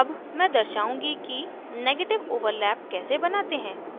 अब मैं दर्शाउंगी कि negative overlap कैसे बनाते हैं